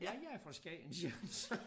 Ja jeg er fra Skagen siger han så